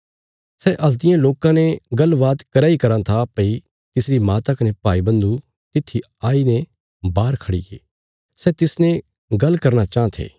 सै हल्तियें लोकां ने गल्ल बात करया इ कराँ था भई तिसरी माता कने भाईबन्धु तित्थी आई ने बाहर खड़ीगे सै तिसने गल्ल करना चाँह थे